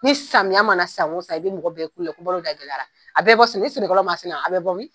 Ni samiya mana san o san, i bi mɔgɔ bɛɛ ye kulo la ko balo da gɛlɛyara a bɛ bɔ ni sɛnɛkalaw ma sɛnɛ a bɛ bɔ min ?